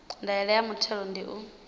ndaela ya muthelo ndi u